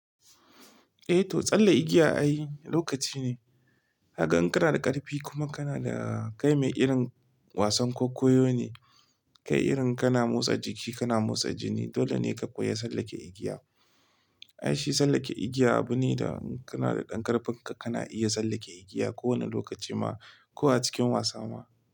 Eh to tsalle igiya ai lokaci ne. Gaka in kana da ƙarfi kuma kana da kai mai irin wasan kwaikwayo ne, kai irin kana motsa jiki, kana motsa jini, dole ne ka koyi tsallake igiya. Ai shi tsallake igiya abu ne da in kana da ƙarfin ka, kana iya tsallake igiya ko wane lokaci ma ko a cikin wasa ma.